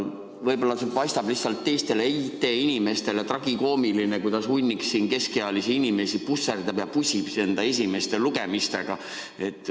Võib-olla see paistab IT-inimestele tragikoomiline, kuidas hunnik keskealisi inimesi pusserdab ja pusib enda esimeste lugemistega.